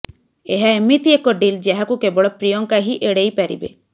ଏହା ଏମିତି ଏକ ଡିଲ୍ ଯାହାକୁ କେବଳ ପ୍ରିୟଙ୍କା ହିଁ ଏଡେଇ ପାରିବେ